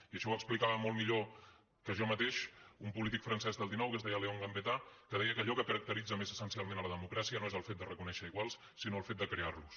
i això ho explicava molt millor que jo mateix un polític francès del xixgambetta que deia que allò que caracteritza més essencialment la democràcia no és el fet de reconèixer iguals sinó el fet de crear los